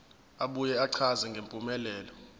abuye achaze ngempumelelo